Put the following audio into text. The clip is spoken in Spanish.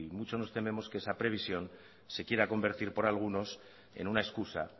mucho nos tenemos que esa previsión se quiera convertir por algunos en una excusa